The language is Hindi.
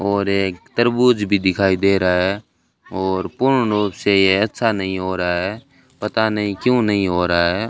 और एक तरबूज भी दिखाई दे रहा है और पूर्ण रूप से ऐसा नहीं हो रहा है पता नहीं क्यों नहीं हो रहा है।